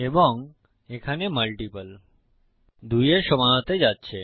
এবং এখানে মাল্টিপল 2 এর সমান হতে যাচ্ছে